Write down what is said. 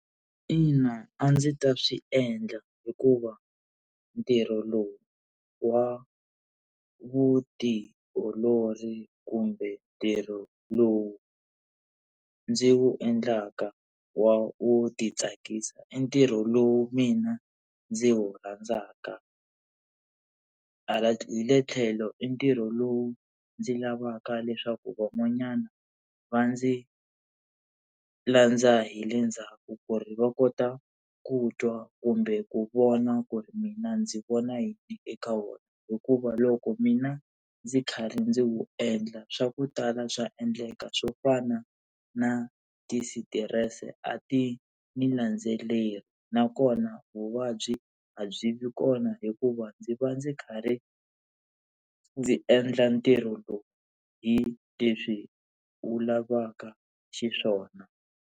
Ina a ndzi ta swi endla hikuva ntirho lowu wa vutiolori kumbe ntirho lowu ndzi wu endlaka wo titsakisa i ntirho lowu mina ndzi wu rhandzaka, hi le tlhelo i ntirho lowu ndzi lavaka leswaku van'wanyana va ndzi landza hi le ndzhaku ku ri va kota ku twa kumbe ku vona ku ri mina ndzi vona yi eka wona, hikuva loko mina ndzi kha ri ndzi wu endla swa ku tala swa endleka swo fana na tisitirese a ti ni landzeleri nakona vuvabyi a byi vi kona hikuva ndzi va ndzi karhi ndzi endla ntirho lowu hi leswi wu lavaka xiswona.